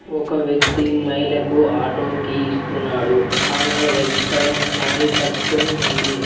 ఒక వ్యక్తి మహిళకు ఆటో కీ ఇస్తున్నాడు ఆమె రెడ్ కలర్ శారీ కట్టుకొని ఉంది.